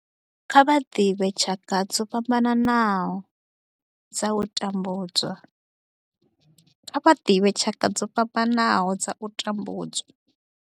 Kha vha ḓivhe tshaka dzo fhambanaho dza u tambudzwa.